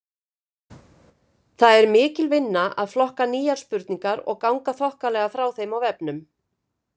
Það er mikil vinna að flokka nýjar spurningar og ganga þokkalega frá þeim á vefnum.